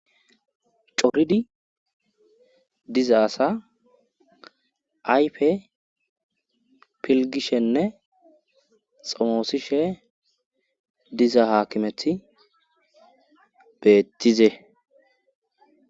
Coridi diza asa ayfe pilgishenne xomoosishe diza haakimethi beettize.